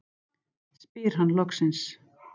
spyr hann loksins.